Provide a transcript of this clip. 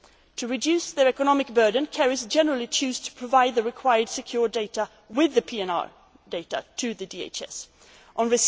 commercial purposes. To reduce their economic burden, carriers generally choose to provide the required secure data with the PNR data to the US Department of